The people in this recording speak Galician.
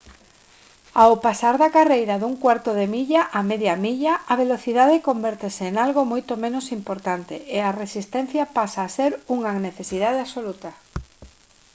ao pasar da carreira dun cuarto de milla á media milla a velocidade convértese en algo moito menos importante e a resistencia pasa a ser unha necesidade absoluta